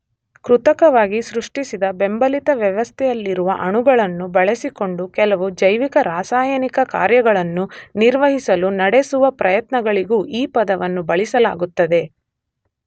ಕೃತಕವಾಗಿ ಸೃಷ್ಟಿಸಿದ ಬೆಂಬಲಿತ ವ್ಯವಸ್ಥೆಯಲ್ಲಿರುವ ಅಣುಗಳನ್ನು ಬಳಸಿಕೊಂಡು ಕೆಲವು ಜೈವಿಕರಾಸಾಯನಿಕ ಕಾರ್ಯಗಳನ್ನು ನಿರ್ವಹಿಸಲು ನಡೆಸುವ ಪ್ರಯತ್ನಗಳಿಗೂ ಈ ಪದವನ್ನು ಬಳಸಲಾಗುತ್ತದೆ